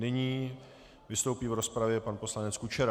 Nyní vystoupí v rozpravě pan poslanec Kučera.